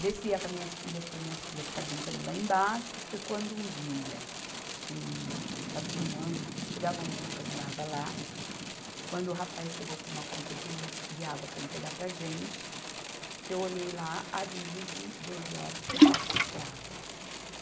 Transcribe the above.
Descia com as minhas filhas para minhas filhas ficarem brincando lá embaixo, foi quando um dia, um, fazia um ano, chegava a um ano que eu morava lá, quando o rapaz chegou com uma conta de luz, de água para entregar para a gente, que eu olhei lá, aviso de doze horas para um corte de água.